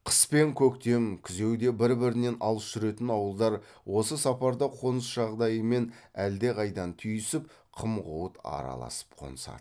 қыс пен көктем күзеуде бір бірінен алыс жүретін ауылдар осы сапарда қоныс жағдайымен әлдеқайдан түйісіп қым ғуыт араласып қонысады